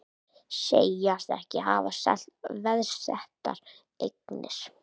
Segjast ekki hafa selt veðsettar eignir